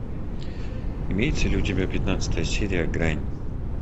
имеется ли у тебя пятнадцатая серия грань